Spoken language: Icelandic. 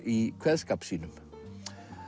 í kveðskap sínum